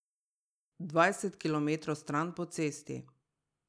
Dvajset kilometrov stran po cesti.